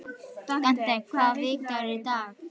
Dante, hvaða vikudagur er í dag?